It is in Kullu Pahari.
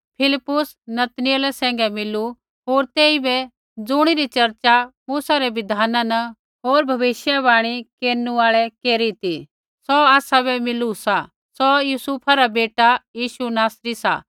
फिलिप्पुस नतनऐल सैंघै मिलू होर तेइबै ज़ुणिरी चर्चा मूसै रै बिधान न होर भविष्यवाणी केरनु आल़ै केरी ती सौ आसाबै मिलू सा सौ यूसुफा रा बेटा यीशु नासरी सा